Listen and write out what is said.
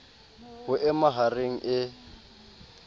ho e maha reng e